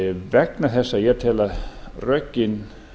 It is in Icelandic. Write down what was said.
vegna þess að ég tel að rökin